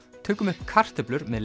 tökum upp kartöflur með